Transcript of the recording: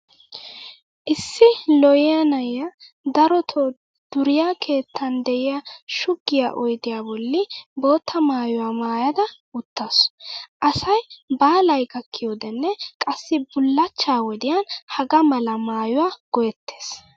Issi lo'iya na'iyaa darotoo duriya keettan de'iya shuggiya oydiya bolli bootta maayuwa maayada uttaasu. Asay baalay gakkiyodenne qassi bullachcha wodiyan hagaa mala maayuwa go'ettes.